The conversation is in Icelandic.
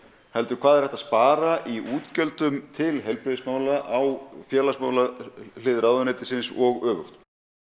heldur hvað er hægt að spara í útgjöldum til heilbrigðismála á félagsmálahlið ráðuneytisins og öfugt